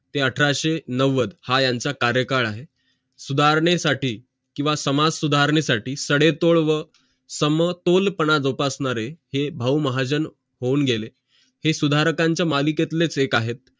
अठराशे नव्वद हा यांचं कार्यकाळ आहे सुधारणे साठी किंव्हा समाज सुधारणे साठी सडे तोड व समतोल पणा जोपासणारे हे भाऊ होऊन गेले हे सुधाररकांचे मालिकेतलेच एक आहेत